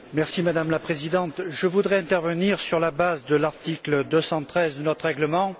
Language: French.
Madame la Présidente, je voudrais intervenir sur la base de l'article 213 de notre règlement.